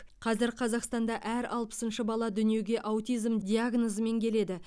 қазір қазақстанда әр алпысыншы бала дүниеге аутизм диагнозымен келеді